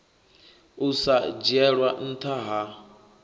u sa dzhielwa ntha ha